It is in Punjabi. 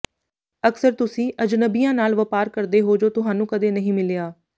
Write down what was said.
ਅਕਸਰ ਤੁਸੀਂ ਅਜਨਬੀਆਂ ਨਾਲ ਵਪਾਰ ਕਰਦੇ ਹੋ ਜੋ ਤੁਹਾਨੂੰ ਕਦੇ ਨਹੀਂ ਮਿਲਿਆ